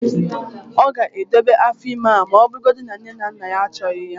ọ ga-edobe afọ ime ahụ ọ bụrụgodị na nne na nna achọghị ya